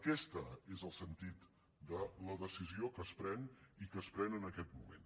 aquest és el sentit de la decisió que es pren i que es pren en aquest moment